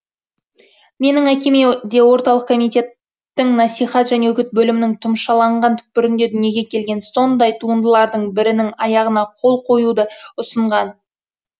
менің әкеме де орталық комитеттің насихат және үгіт бөлімінің тұмшаланған түпкірінде дүниеге келген сондай туындылардың бірінің аяғына қол қоюды ұсынған